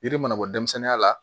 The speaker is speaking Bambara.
Yiri mana bɔ denmisɛnninya la